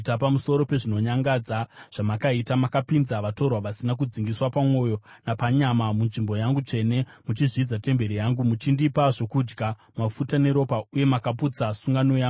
Pamusoro pezvinonyangadza zvamakaita, makapinza vatorwa vasina kudzingiswa pamwoyo napanyama munzvimbo yangu tsvene, muchizvidza temberi yangu muchindipa zvokudya, mafuta neropa, uye makaputsa sungano yangu.